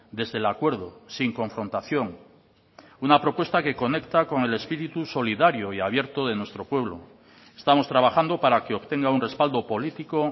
desde el acuerdo sin confrontación una propuesta que conecta con el espíritu solidario y abierto de nuestro pueblo estamos trabajando para que obtenga un respaldo político